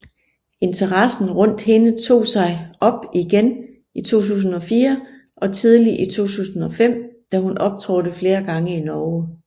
Interessen rundt hende tog sig op igen i 2004 og tidlig i 2005 da hun optrådte flere gange i Norge